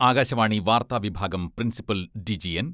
ആകാശവാണി വാർത്താ വിഭാഗം principal DG N.